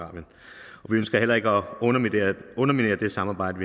ønsker heller ikke at underminere det samarbejde